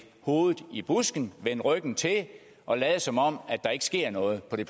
hovedet i busken vende ryggen til og lade som om der ikke sker noget på